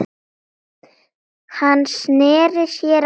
Hann sneri sér að Jóni.